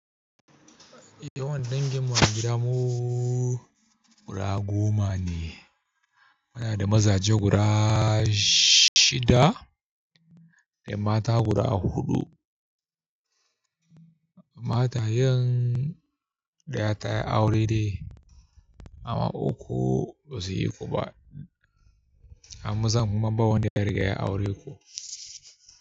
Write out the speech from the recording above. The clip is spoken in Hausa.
Yawan danginmu gida mu guda goma ne. Muna da mazaje guda shida da mata guda huɗu. Matayen daya ta yi aure dai amma uku ba su yi kuma. Hamza mumman bawan da ya riga ya auri ƙo.